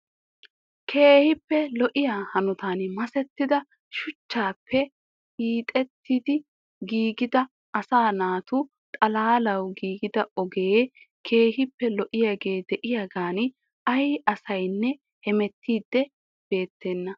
Keehippe lo"iyaa hanotan masettida shuchchappe hiixettidi giigida asaa naatu xalaalaw giigida ogee keehippe lo"iyaage de'iyaagan ay asinne hemettidi beettena .